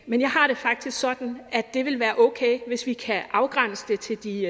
men jeg har det faktisk sådan at det vil være okay hvis vi kan afgrænse det til de